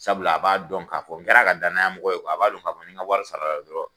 Sabula a b'a dɔn k'a fɔ n kɛr'a ka danyamɔgɔ ye kuwa, a b'a don k'a fɔ ni n ka wari sarala dɔrɔn